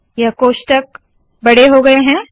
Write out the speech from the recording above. यह बड़ा हो गया है